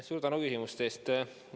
Suur tänu küsimuste eest!